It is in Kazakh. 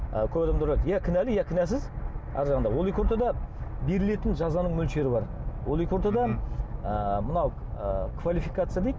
ы көп адамдар ойлайды иә кінәлі иә кінәсіз арғы жағында ол екі ортада берілетін жазаның мөлшері бар ол екі ортада ы мынау ы квалификация дейді